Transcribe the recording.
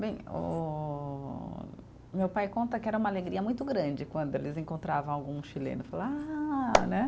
Bem, o meu pai conta que era uma alegria muito grande quando eles encontravam algum chileno e falar, ah, né?